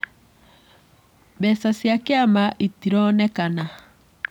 Mbeca cia kĩama itironekana.